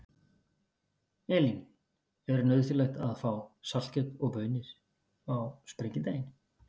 Elín: Er nauðsynlegt að fá saltkjöt og baunir á Sprengidaginn?